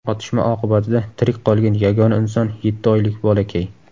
Otishma oqibatida tirik qolgan yagona inson yetti oylik bolakay.